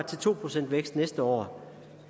til to procent vækst næste år